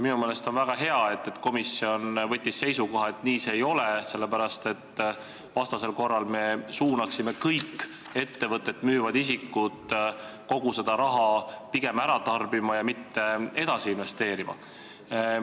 Minu meelest on väga hea, et komisjon võttis seisukoha, et nii see ei ole, sest vastasel korral me suunaksime kõik ettevõtet müüvad isikud pigem kogu raha ära tarbima ja mitte edasi investeerima.